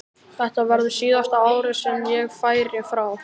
Þetta verður síðasta árið sem ég færi frá.